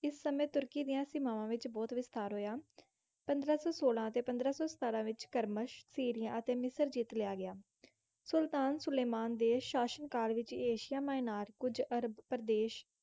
ਇਸ ਸਮੇਂ ਤੁਰਕੀ ਦੀਆਂ ਸੀਮਾਵਾਂ ਵਿੱਚ ਬਹੁਤ ਵਿਸਥਾਰ ਹੋਇਆ। ਪੰਦਰਾਂ ਸੌ ਸੋਲਾਂ ਅਤੇ ਪੰਦਰਾਂ ਸੌ ਸਤਾਰਾਂ ਵਿੱਚ ਕਰਮਸ਼, ਸੀਰਿਆ ਅਤੇ ਮਿਸਰ ਜਿੱਤ ਲਿਆ ਗਿਆ। ਸੁਲਤਾਨ ਸੁਲੇਮਾਨ ਦੇ ਸ਼ਾਸਨਕਾਲ ਵਿੱਚ ਏਸ਼ੀਆ ਮਾਇਨਰ, ਕੁੱਝ ਅਰਬ ਪ੍ਰਦੇਸ਼,